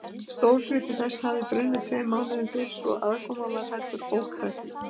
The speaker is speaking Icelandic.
Stór hluti þess hafði brunnið tveimur mánuðum fyrr, svo aðkoman var heldur ókræsileg.